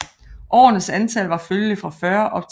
Årernes antal var følgelig fra 40 op til 60